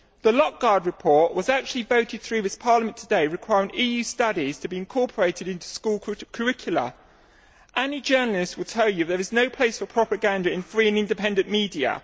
The Løkkegaard report was actually voted through this Parliament today, requiring EU studies to be incorporated into school curricula. Any journalist would tell you there is no place for propaganda in free and independent media.